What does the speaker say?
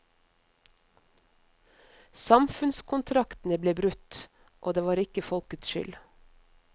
Samfunnskontrakten ble brutt, og det var ikke folkets skyld.